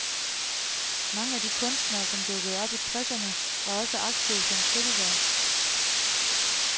Mange af de kunstnere, som dukkede op i tresserne, var også aktive som kritikere.